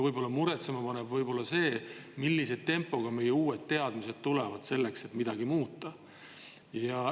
Aga muretsema paneb see, millise tempoga tuleb meile peale uusi teadmisi, et midagi muuta.